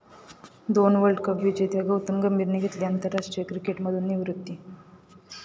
दोन world cup विजेत्या गौतम गंभीरने घेतली आंतरराष्ट्रीय क्रिकेटमधून निवृत्ती